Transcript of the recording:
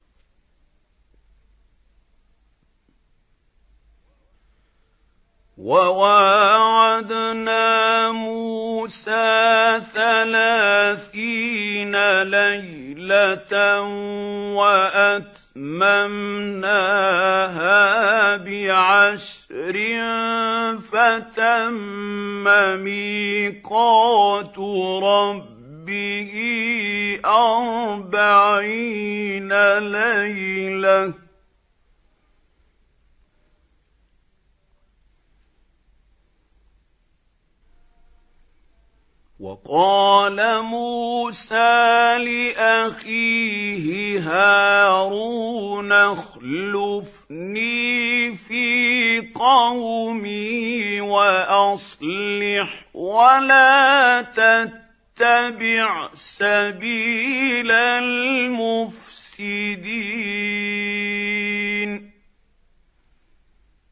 ۞ وَوَاعَدْنَا مُوسَىٰ ثَلَاثِينَ لَيْلَةً وَأَتْمَمْنَاهَا بِعَشْرٍ فَتَمَّ مِيقَاتُ رَبِّهِ أَرْبَعِينَ لَيْلَةً ۚ وَقَالَ مُوسَىٰ لِأَخِيهِ هَارُونَ اخْلُفْنِي فِي قَوْمِي وَأَصْلِحْ وَلَا تَتَّبِعْ سَبِيلَ الْمُفْسِدِينَ